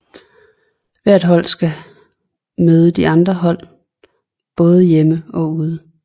Hvert hold skal møde de andre hold både hjemme og ude